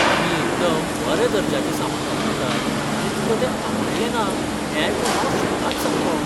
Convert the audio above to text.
आमी एकदम बरें दर्ज्याचें सामान वापरतात आनी तुका तें आवडलें ना हें आयकून हांव शॉकाद सामको.